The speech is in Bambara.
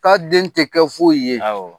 K'a den tɛ kɛ foyi ye. Awɔ.